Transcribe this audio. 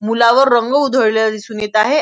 मुलावर रंग उधळलेला दिसून येत आहे.